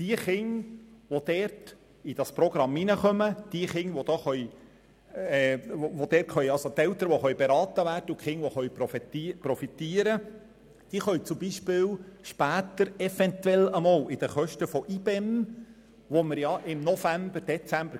Ausgaben, die heute für die in dieses Programm aufgenommenen Kinder getätigt werden sowie für Eltern, die beraten werden und für Kinder, die davon profitieren können, können später eventuell bei den Kosten der Integration und besonderen Massnahmen (IBEM) eingespart werden.